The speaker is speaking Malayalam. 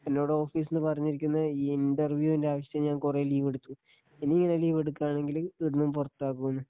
എന്നോട് ഓഫിസിനു പറഞ്ഞിരിക്കുന്നത് ഈ ഇന്റർ വ്യൂന്റെ ആവശ്യത്തിനി ഞാൻ കുറെ ലീവെടുത്തു ഇനി ഇങ്ങനെ ലീവ് എടുക്കുവാണെങ്കിൽ ഇവിടുന്നും പുറത്താക്കുന്നു.